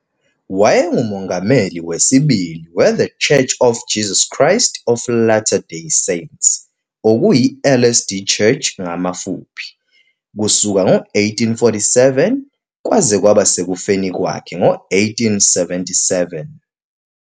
Wayengumongameli wesibili we - The Church of Jesus Christ of Latter-day Saints, LDS Church, kusuka ngo-1847 kwaze kwaba sekufeni kwakhe ngo-1877.